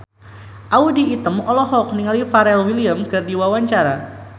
Audy Item olohok ningali Pharrell Williams keur diwawancara